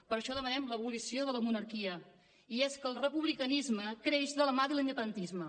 per això demanem l’abolició de la monarquia i és que el republicanisme creix de la mà de l’independentisme